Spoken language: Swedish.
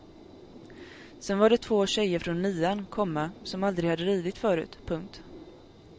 Sen var det två tjejer från nian, komma som aldrig hade ridit förut. punkt